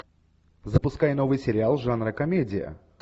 запускай новый сериал жанра комедия